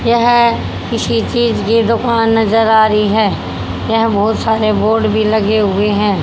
यह किसी चीज की दुकान नजर आ रही है यह बहोत सारे बोर्ड भी लगे हुए हैं।